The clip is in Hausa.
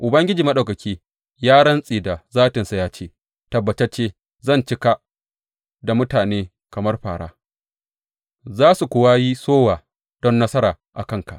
Ubangiji Maɗaukaki ya rantse da zatinsa, ya ce Tabbatacce zan cika ka da mutane kamar fāra, za su kuwa yi sowa don nasara a kanka.